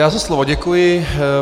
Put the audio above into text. Já za slovo děkuji.